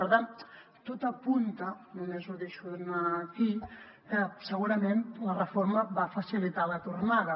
per tant tot apunta només ho deixo anar aquí que segurament la reforma va facilitar la tornada